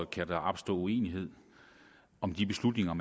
kan der opstå uenighed om de beslutninger